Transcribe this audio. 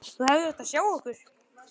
Þú hefðir átt að sjá okkur.